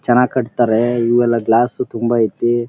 ಚೆನಾಗ್ ಕಟ್ಟ್ ತ್ತಾರೆ ಇವೆಲ್ಲ ಗ್ಲಾಸ್ ತುಂಬಾ ಐತಿ.